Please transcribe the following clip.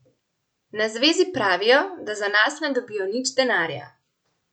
Na zvezi pravijo, da za nas ne dobijo nič denarja.